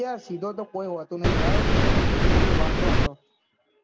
આય્યા સીધો તો કોઈ હોતો નહી ભાઈ બધી વાતો હતો